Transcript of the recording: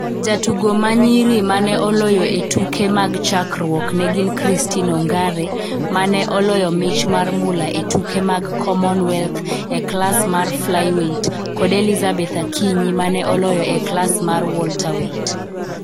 Jotugo ma nyiri ma ne oloyo e tuke mag chakruok ne gin Christine Ongare ma ne oloyo mich mar mula e tuke mag Commonwealth e klas mar flyweight kod Elizabeth Akinyi ma ne oloyo e klas mar welterweight.